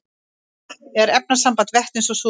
vatn er efnasamband vetnis og súrefnis